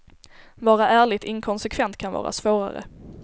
Vara ärligt inkonsekvent kan vara svårare.